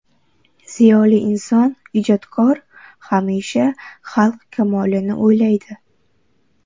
Ziyoli inson, ijodkor hamisha xalq kamolini o‘ylaydi.